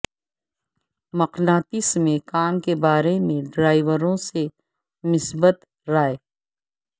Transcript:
مقناطیس میں کام کے بارے میں ڈرائیوروں سے مثبت رائے